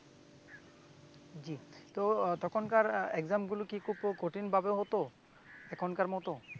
তো তখনকার exam গুলা কি খুব ক~কঠিন ভাবে হত এখনকার মত